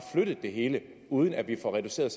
flyttet det hele uden at vi får reduceret